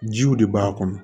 Jiw de b'a kɔnɔ